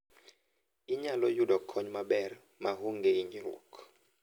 Inyalo yudo kony maber maonge hinyruok.